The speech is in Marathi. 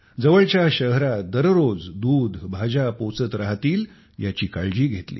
जवळच्या शहरात दररोज दुधभाज्या पोहोचत राहतील याची काळजी घेतली